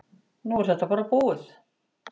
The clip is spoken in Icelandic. Nú er þetta bara búið.